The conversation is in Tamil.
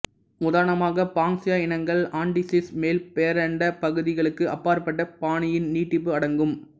உதாரணமாக பாங்க்ஸ்யா இனங்கள் ஆண்டிசிஸ் மேல் பேரண்ட பகுதிகளுக்கு அப்பாற்பட்ட பாணியின் நீட்டிப்பு அடங்கும்